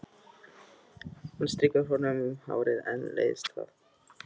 Hún strýkur honum um hárið en leiðist það.